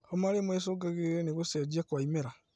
Homa rĩmwe ĩcũngagĩrĩrio nĩ gũcenjia kwa imera